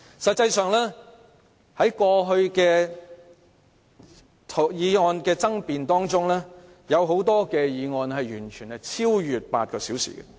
實際上，過去很多有爭議法案的二讀辯論時間超越8小時。